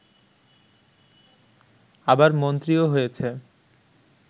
আবার মন্ত্রীও হয়েছে